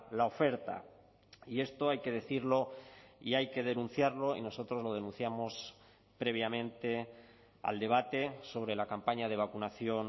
la oferta y esto hay que decirlo y hay que denunciarlo y nosotros lo denunciamos previamente al debate sobre la campaña de vacunación